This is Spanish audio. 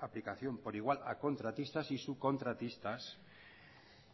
aplicación por igual a contratistas y subcontratistas